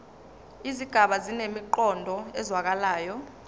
izigaba zinemiqondo ezwakalayo